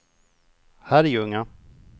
Herrljunga